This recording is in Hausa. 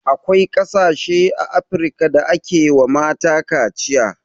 Akwai ƙasashe a afrika da ake wa mata kaciya